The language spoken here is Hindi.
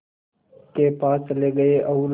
के पास चले गए और